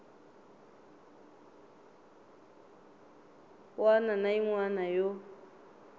wana na yin wana yo